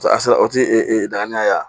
A sera o ti e dagan